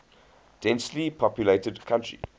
densely populated country